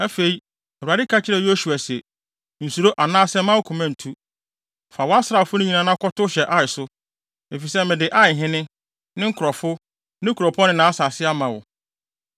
Afei, Awurade ka kyerɛɛ Yosua se, “Nsuro anaasɛ mma wo koma ntu. Fa wʼasraafo no nyinaa na kɔtow hyɛ Ai so, efisɛ mede Aihene, ne nkurɔfo, ne kuropɔn ne nʼasase ama wo.